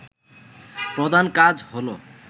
প্রধান কাজ হল